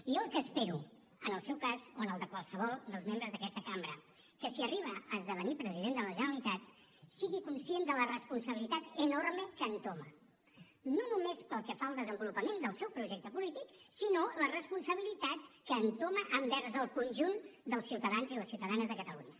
jo el que espero en el seu cas o en el de qualsevol dels membres d’aquesta cambra que si arriba a esdevenir president de la generalitat sigui conscient de la responsabilitat enorme que entoma no només pel que fa al desenvolupament del seu projecte polític sinó la responsabilitat que entoma envers el conjunt dels ciutadans i les ciutadanes de catalunya